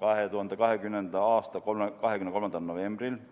2020. aasta 23. novembri istungil.